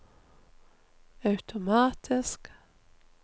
automatisk